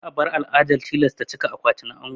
Za a bar al'adar tilasta cika akwati na ango.